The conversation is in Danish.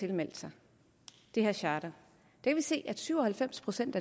tilmeldt sig det her charter kan vi se at syv og halvfems procent